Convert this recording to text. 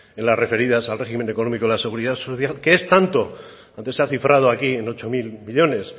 en las referidas al régimen económico de la seguridad social que es tanto antes se ha cifrado aquí en ocho mil millónes